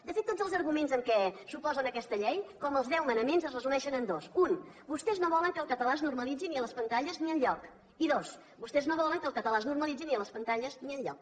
de fet tots els arguments amb què s’oposen a aquesta llei com els deu manaments es resumeixen en dos un vostès no volen que el català es normalitzi ni a les pantalles ni enlloc i dos vostès no volen que el català es normalitzi ni a les pantalles ni enlloc